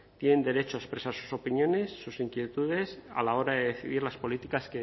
tienen derecho a expresar sus opiniones sus inquietudes a la hora de decidir las políticas